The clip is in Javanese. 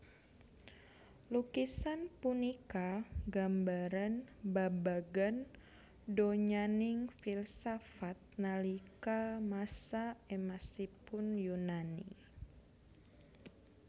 Lukisan punika gambaran babagan donyaning filsafat nalika masa emasipun Yunani